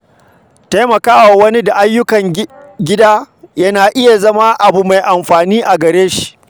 Taimaka wa wani da ayyukan gida kyauta na iya zama abu mai amfani a gare shi.